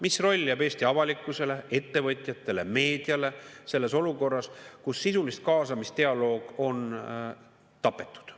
Mis roll jääb Eesti avalikkusele, ettevõtjatele, meediale selles olukorras, kus sisulist kaasamist, dialoog on tapetud.